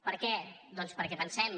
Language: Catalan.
per què doncs perquè pensem